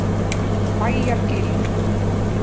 Bæjargili